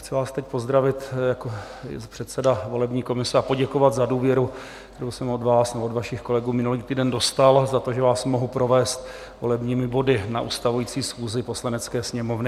Chci vás teď pozdravit jako předseda volební komise a poděkovat za důvěru, kterou jsem od vás nebo od vašich kolegů minulý týden dostal, za to, že vás mohu provést volebními body na ustavující schůzi Poslanecké sněmovny.